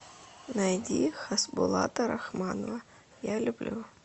найди хасбулата рахманова я люблю